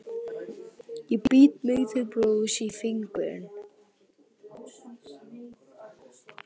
Ég bít mig til blóðs í fingurinn.